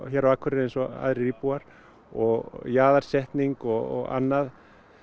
hér á Akureyri eins og aðrir íbúar og jaðarsetning og annað